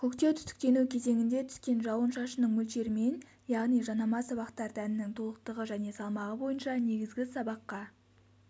көктеу-түтіктену кезеңінде түскен жауын-шашынның мөлшерімен яғни жанама сабақтар дәнінің толықтығы және салмағы бойынша негізгі сабаққа